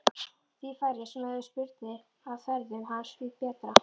Því færri sem höfðu spurnir af ferðum hans því betra.